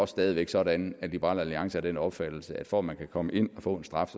stadig væk sådan at liberal alliance er af den opfattelse at for at man kan komme ind og få en straf